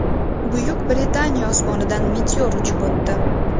Buyuk Britaniya osmonidan meteor uchib o‘tdi .